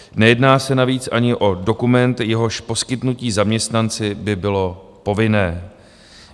Nejedná se navíc ani o dokument, jehož poskytnutí zaměstnanci by bylo povinné.